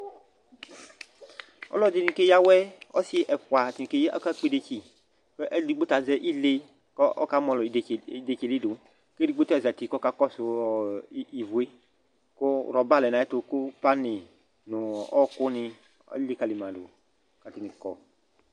Ɔlɔdɩnɩ keyǝ awɛ, ɔsɩ ɛfʋa kikeyǝ akakpɔ idetsi kʋ ɔlʋ edigbo ta azɛ ile kʋ ɔkamɔlɔ idetsi idetsi yɛ li dʋ kʋ edigbo ta zati kʋ ɔkakɔsʋ ivu yɛ kʋ rɔba lɛ nʋ ayɛtʋ kʋ panɩ nʋ ɔɣɔkʋnɩ alikǝli ma dʋ kʋ atanɩ kɔ